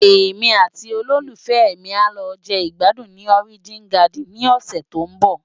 Émi àti ólólúfèmi á lò je igbádún ni Òrijín Gádin ni òsè tó n bò